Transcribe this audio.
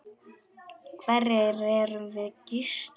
Hverjir erum við Gísli?